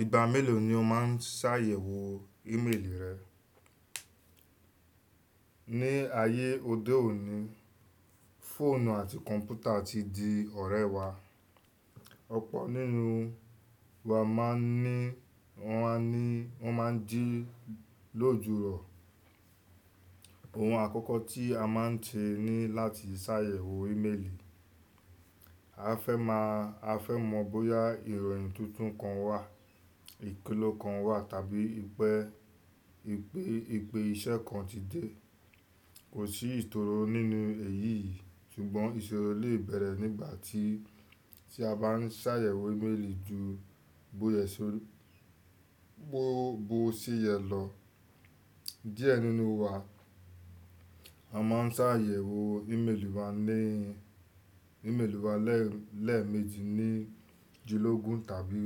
Ìgbà mélòó ni o máa ń ṣàyẹ̀wò ímeèlì rẹ? Ní ayé òde òní, fóònù àti kọ̀ǹpútà ti di ọ̀rẹ́ wa. Ọ̀pọ̀ nínú wa máa ń ní, wọ́n a ní, wọ́n máa ń jí lójoojúmọ́. Ohun àkọ́kọ́ tí a máa ń tẹ ni láti ṣàyẹ̀wò ímeèlì. A fẹ́ má a fẹ́ mọ̀ bóyá ìròyìn tuntun kan wà, ìpilẹ̀ kan wà tàbí ìpè, ìpè, ìpè iṣẹ́ kan ti dé. Kò sí ìsòrò nínú èyí yìí ṣùgbọ́n ìṣòro lè bẹ̀rẹ̀ nígbà tí, tí a bá ń ṣàyẹ̀wò ímeèlì ju bo se yẹ̀ lọ. Díẹ̀ nínú wa, a máa ń ṣàyẹ̀wò ímeèlì wa ní, ímeèlì wa lẹ́, lẹ́ẹ̀mejì ní júlọ́ ogún tàbí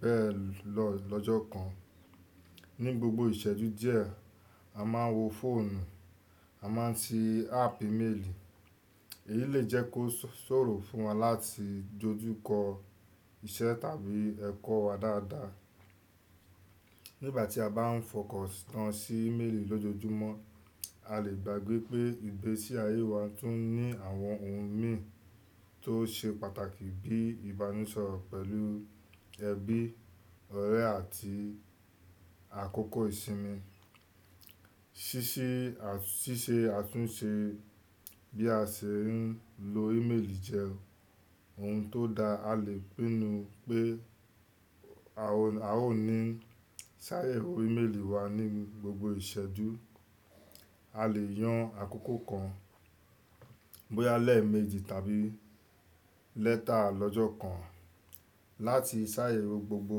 bẹ́ẹ̀ lọ lọ́jọ́ kan. Ní gbogbo ìṣẹ́jú díẹ̀, a máa ń wo fóònù, a máa ń ti áàpù ímeèlì. Èyí lè jẹ́ kó ṣòro fún wa láti dojú kọ iṣẹ́ tàbí ẹ̀kọ́ wa dáadáa. Nígbà tí a bá ń fọkọ̀sì tán sí ímeèlì lójoojúmọ́, a lè gbàgbé pé ìgbésí ayé wa tún ní àwọn ohun mì tó ṣe pàtàkì bíi ìbánisọ̀rọ̀ pẹ̀lú ẹbí, ọ̀rẹ́ àti àkókò ìsinmi. Ṣíṣe, ṣíṣe àtúnṣe bí a ṣe ń lo ímeèlì jẹ́. Ohun tó da, a lè pinnu pé a ò, a ò ní ṣàyẹ̀wò ímeèlì wa ní gbogbo ìṣẹ́jú. A lè yàn àkókò kan, bóyá lẹ́ẹ̀mejì tàbí lẹ́ta lọ́jọ́ kan láti ṣàyẹ̀wò gbogbo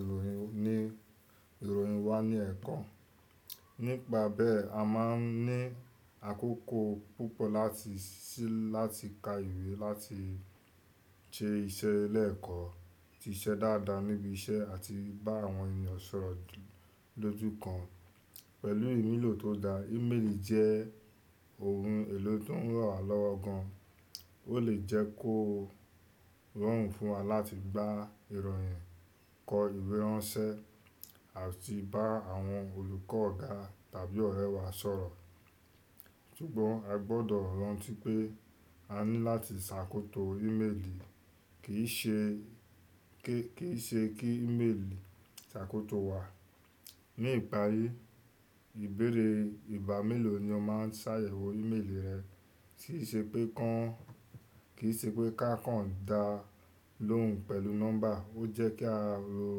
ìròyìn ni, ìròyìn wa ní ẹ̀kan. Nípa bẹ́ẹ̀, a máa ní àkókò púpọ̀ láti ṣí láti ka ìwé, láti ṣe iṣẹ́ lẹ́ẹ̀kan, ṣe iṣẹ́ dáadáa níbi iṣẹ́ àti bá àwọn ènìyàn sọ̀rọ̀ lójúkan. Pẹ̀lú ìmúlò tó da, ímeèlì jẹ́ ohun èlò tó ń rànwálọ́wọ́ gan. Ó lè jẹ́ kó rọrùn fún wa láti gba ìròyìn, kọ ìwé ránṣẹ́ àti bá àwọn olùkọ́ ọ̀gá tàbí ọ̀rẹ́ wa sọ̀rọ̀. Ṣùgbọ́n ẹ gbọ́dọ̀ rántí pé a ní láti ṣàkóso ímeèlì, kì í ṣe kí, kì í ṣe kí ímeèlì ṣàkóso wa. Ní ìparí, ìbéèrè ìgbà mélòó ni o máa ń ṣàyẹ̀wò ímeèlì rẹ kì í ṣe pé ká, kì í ṣe pé kákan dá lóhùn pẹ̀lú nọ́mbà. Ó jẹ́ kí a ro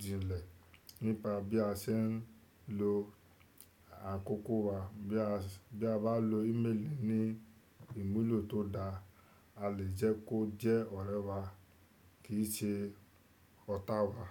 jilẹ̀ nípa bí a ṣe ń lo àkókò wa. Bí a, bí a bá lo ímeèlì ní ìmúlò tó da, a lè jẹ́ kó jẹ́ ọ̀rẹ́ wa kì í ṣe ọ̀tá wa.